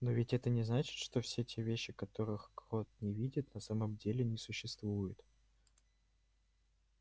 но ведь это не значит что все те вещи которых крот не видит на самом деле не существуют